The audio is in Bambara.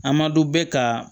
A ma dɔn bɛ ka